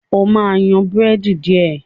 ọ má yan Búrẹ́dì diẹ!